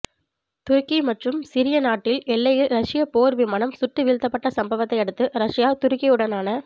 துருக்கி மற்றும் சிரிய நாட்டு எல்லையில் ரஷ்ய போர் விமானம் சுட்டுவீழ்த்தப்பட்ட சம்ப வத்தை அடுத்து ரஷ்யா துருக்கியுடனான